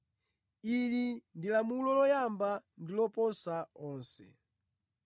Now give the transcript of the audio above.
Ili ndi lamulo loyamba ndi loposa onse.